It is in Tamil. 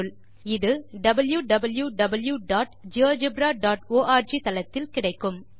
இது wwwgeogebraorg தளத்தில் கிடைக்கும்